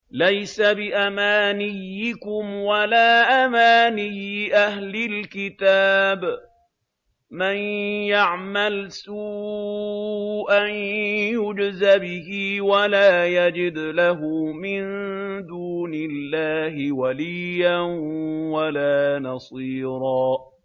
لَّيْسَ بِأَمَانِيِّكُمْ وَلَا أَمَانِيِّ أَهْلِ الْكِتَابِ ۗ مَن يَعْمَلْ سُوءًا يُجْزَ بِهِ وَلَا يَجِدْ لَهُ مِن دُونِ اللَّهِ وَلِيًّا وَلَا نَصِيرًا